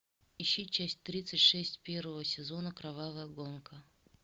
ищи часть тридцать шесть первого сезона кровавая гонка